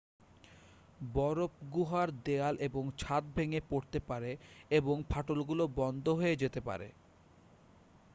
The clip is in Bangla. বরফ গুহার দেয়াল এবং ছাদ ভেঙে পড়তে পারে এবং ফাটলগুলো বন্ধ হয়ে যেতে পারে